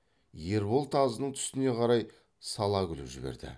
ербол тазының түсіне қарай сала күліп жіберді